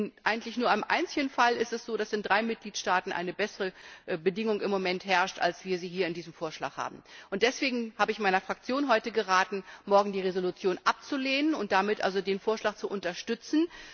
Momentan ist es eigentlich nur einem einzigen Fall so, dass in drei Mitgliedstaaten eine bessere Bedingung herrscht, als wir sie hier in diesem Vorschlag haben. Deswegen habe ich meiner Fraktion heute geraten, morgen die Resolution abzulehnen und damit den Vorschlag zu unterstützen.